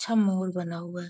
महल बना हुआ है।